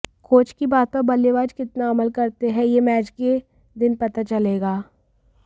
coach की बात पर बल्लेबाज कितना अमल करते हैं यह मैच के दिन पता चलेगा